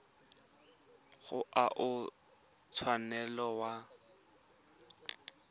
ga o a tshwanela wa